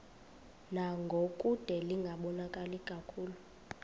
ngangokude lingaboni kakuhle